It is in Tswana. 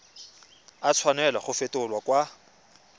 a tshwanela go fetolwa kwa